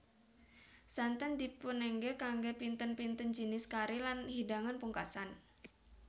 Santen dipunengge kangge pinten pinten jinis kari lan hidangan pugkasan